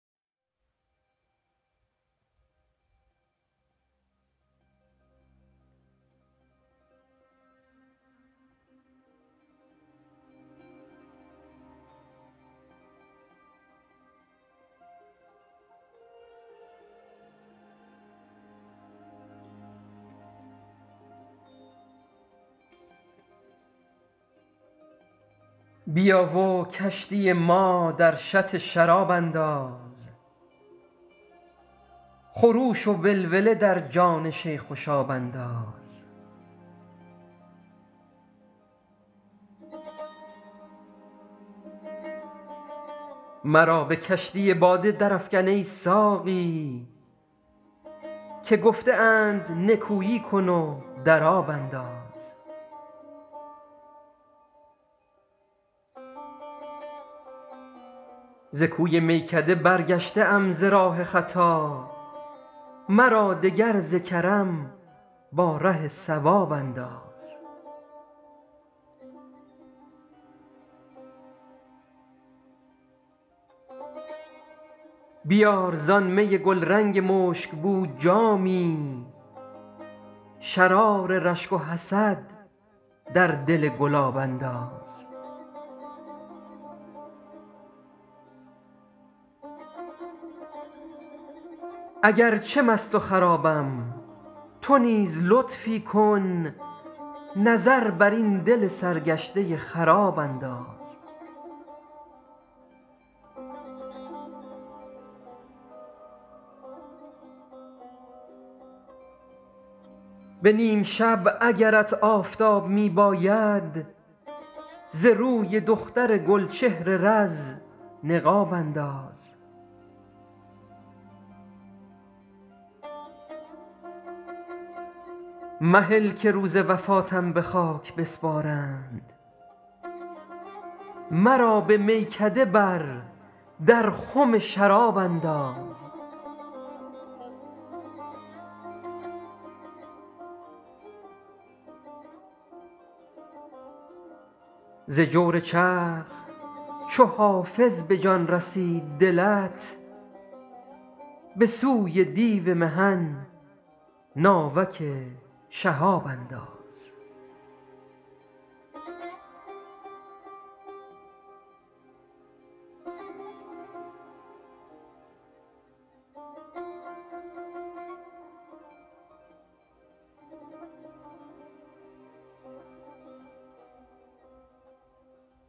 بیا و کشتی ما در شط شراب انداز خروش و ولوله در جان شیخ و شاب انداز مرا به کشتی باده درافکن ای ساقی که گفته اند نکویی کن و در آب انداز ز کوی میکده برگشته ام ز راه خطا مرا دگر ز کرم با ره صواب انداز بیار زآن می گلرنگ مشک بو جامی شرار رشک و حسد در دل گلاب انداز اگر چه مست و خرابم تو نیز لطفی کن نظر بر این دل سرگشته خراب انداز به نیم شب اگرت آفتاب می باید ز روی دختر گل چهر رز نقاب انداز مهل که روز وفاتم به خاک بسپارند مرا به میکده بر در خم شراب انداز ز جور چرخ چو حافظ به جان رسید دلت به سوی دیو محن ناوک شهاب انداز